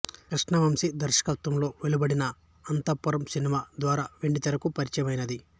కృష్ణవంశీ దర్శకత్వంలో వెలువడిన అంతఃపురం సినిమా ద్వారా వెండితెరకు పరిచయమైంది